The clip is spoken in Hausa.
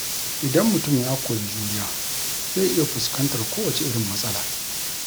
Idan mutum ya koyi juriya, zai iya fuskantar kowace irin matsala.